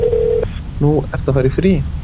Nú, ertu að fara í frí?